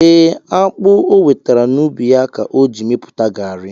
E, akpu o wetara n'ubi ya ka o ji mepụta garri